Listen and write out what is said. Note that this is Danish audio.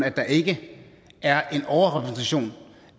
at der ikke er en overrepræsentation